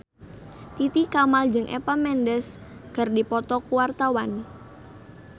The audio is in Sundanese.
Titi Kamal jeung Eva Mendes keur dipoto ku wartawan